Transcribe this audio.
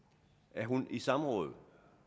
er hun i samråd